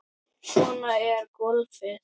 Svona er golfið.